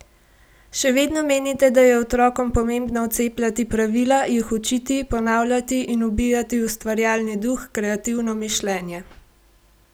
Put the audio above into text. Še vedno menite, da je otrokom pomembno vcepljati pravila, jih učiti, ponavljati in ubijati ustvarjalni duh, kreativno mišljenje?